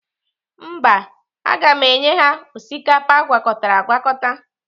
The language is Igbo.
Mba, aga m enye ha osikapa agwakọtara agwakọta.